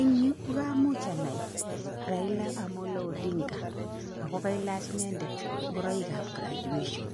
Eng yu ko kamuch anai Raila Amolo Odinga ako kailach inendet ngoroikab graduation,